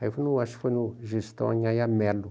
Acho que foi no Gestão Mello.